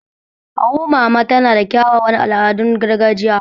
Awo mama tana da kyawawan al'adun gargajiya.